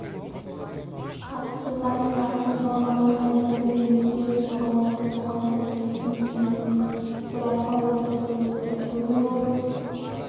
қатысты заңдағы нормаларға енгізілген өзгеріс соған орай қоғамдық келісім кеңесінің төралқа отырысы өтті бүгін облыс